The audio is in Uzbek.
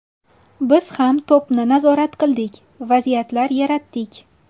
Biz ham to‘pni nazorat qildik, vaziyatlar yaratdik.